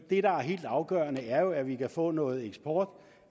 er helt afgørende er jo at vi kan få noget eksport